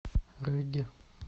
регги